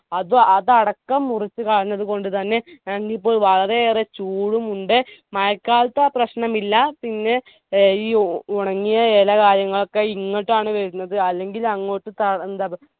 അതു അത് അടക്കം മുറിച്ചു കളഞ്ഞതുകൊണ്ട് തന്നെ ഞങ്ങൾക്കിപ്പോ വളരെയേറെ ചൂടും ഉണ്ട് മഴക്കാലത്ത് ആ പ്രശ്നമില്ല പിന്നെ ഏർ ഈ ഓ ഉണങ്ങിയ എലകായങ്ങളൊക്കെ ഇങ്ങോട്ടാണ് വരുന്നത് അല്ലെങ്കിൽ അങ്ങോട്ട്